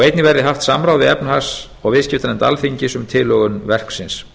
einnig verði haft samráð við efnahags og viðskiptanefnd alþingis um tilhögun verksins